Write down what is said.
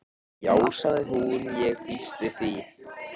Já sagði hún, ég býst við því